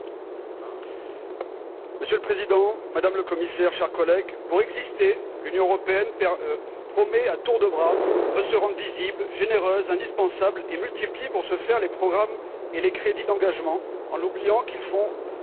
Monsieur le Président, Madame la Commissaire, chers collègues, pour exister, l'Union européenne promet à tour de bras de se rendre visible, généreuse, indispensable et multiplie pour ce faire les programmes et les crédits d'engagement en oubliant qu'à terme, il faut régler la facture.